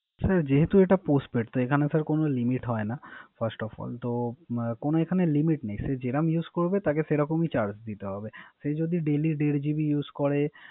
হ্যা যেহেতু এটা Postpaid তই এখানে কোন Limit হয় না। First of all তো কোন এখানে Limit নাই। যেরম Use করবে তাকে সে রকম ই Charge দিতে হবে। সে যদি দের GP use করে